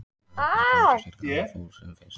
Hann þarf bara að komast í sitt gamla for sem fyrst.